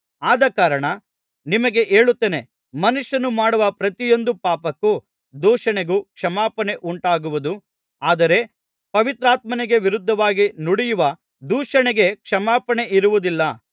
ಆದಕಾರಣ ನಿಮಗೆ ಹೇಳುತ್ತೇನೆ ಮನುಷ್ಯರು ಮಾಡುವ ಪ್ರತಿಯೊಂದು ಪಾಪಕ್ಕೂ ದೂಷಣೆಗೂ ಕ್ಷಮಾಪಣೆ ಉಂಟಾಗುವುದು ಆದರೆ ಪವಿತ್ರಾತ್ಮನಿಗೆ ವಿರುದ್ಧವಾಗಿ ನುಡಿಯುವ ದೂಷಣೆಗೆ ಕ್ಷಮಾಪಣೆಯಿರುವುದಿಲ್ಲ